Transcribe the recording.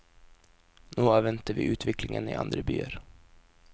Nå avventer vi utviklingen i andre byer.